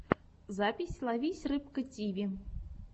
запись ловись рыбка тиви